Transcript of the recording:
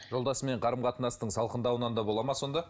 жолдасымен қарым қатынастың салқындауынан да болды ма сонда